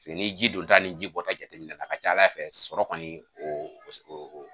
Paseke ni ye ji don ta ni ji bɔ ta jateminɛ a ka ca ala fɛ sɔrɔ kɔni o paseke